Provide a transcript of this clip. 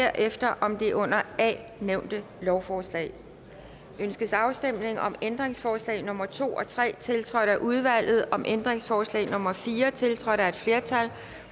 derefter om det under a nævnte lovforslag ønskes afstemning om ændringsforslag nummer to og tre tiltrådt af udvalget om ændringsforslag nummer fire tiltrådt af et flertal